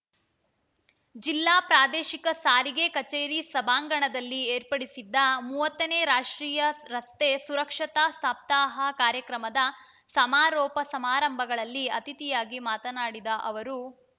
ಜಿಲ್ಲಾ ಪ್ರಾದೇಶಿಕ ಸಾರಿಗೆ ಕಚೇರಿ ಸಭಾಂಗಣದಲ್ಲಿ ಏರ್ಪಡಿಸಿದ್ದ ಮೂವತ್ತನೇ ರಾಷ್ಟ್ರೀಯ ರಸ್ತೆ ಸುರಕ್ಷತಾ ಸಪ್ತಾಹ ಕಾರ್ಯಕ್ರಮದ ಸಮಾರೋಪ ಸಮಾರಂಭಗಳಲ್ಲಿ ಅತಿಥಿಯಾಗಿ ಮಾತನಾಡಿದ ಅವರು